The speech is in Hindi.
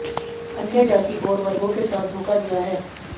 अन्य जाति और वर्गों के साथ धोखा दिया है